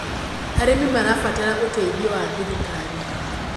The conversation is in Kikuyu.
arĩmi marabatara uteithio wa thirikari